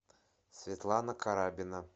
светлана карабина